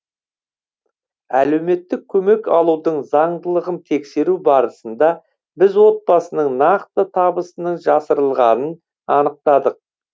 әлеуметтік көмек алудың заңдылығын тексеру барысында біз отбасының нақты табысының жасырылғанын анықтадық